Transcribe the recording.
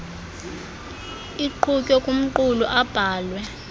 iqhutywe kumqulu abhalwe